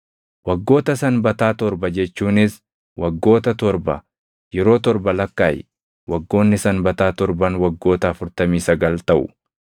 “ ‘Waggoota sanbataa torba jechuunis waggoota torba yeroo torba lakkaaʼi; waggoonni sanbataa torban waggoota afurtamii sagal taʼu.